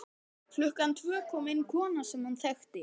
Klukkan tvö kom inn kona sem hann þekkti.